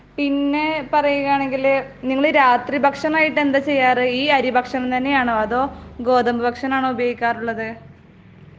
പിന്നെ പറയുവാണെങ്കിൽ ,രാത്രി ഭക്ഷണം ആയിട്ടു എന്താ ചെയ്യാറ് ?ഈ അരി ഭക്ഷണം തന്നെ ആണോ അതോ ഗോതമ്പു ഭക്ഷണം ആണോ ഉപയോഗിക്കാറ് ?